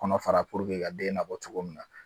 Kɔnɔ fara puruke ka den nabɔ cogo min na.